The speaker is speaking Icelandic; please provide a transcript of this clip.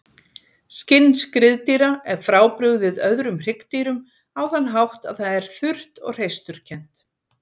Skinn skriðdýra er frábrugðið öðrum hryggdýrum á þann hátt að það er þurrt og hreisturkennt.